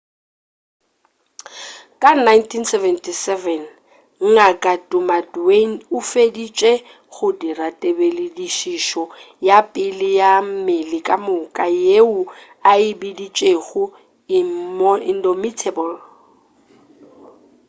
ka 1977 ngk damaduan o feditše go dira tebeledišišo ya pele ya mmele-ka moka yeo a e biditšego indomitable